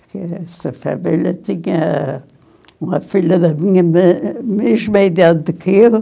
Porque essa família tinha uma filha da minha mesma idade que eu.